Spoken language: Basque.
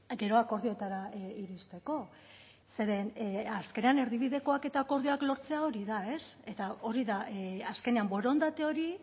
gero akordioetara iristeko zeren azkenean erdibidekoak eta akordioa lortzea hori da eta hori da azkenean borondate hori